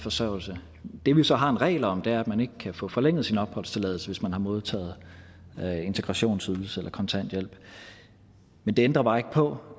forsørgelse det vi så har en regel om er at man ikke kan få forlænget sin opholdstilladelse hvis man har modtaget integrationsydelse eller kontanthjælp men det ændrer bare ikke på